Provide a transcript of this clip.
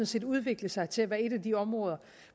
set udviklet sig til at være et af de områder